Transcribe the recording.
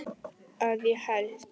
Að ég held.